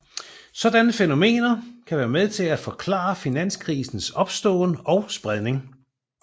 Sådanne fænomener kan være med til at forklare finanskrisers opståen og spredning